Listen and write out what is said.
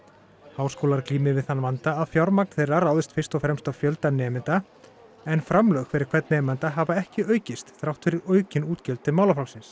háskólar glími við þann vanda að fjármagn þeirra ráðist fyrst og fremst af fjölda nemenda en framlög fyrir hvern nemanda hafa ekki aukist þrátt fyrir aukin útgjöld til málaflokksins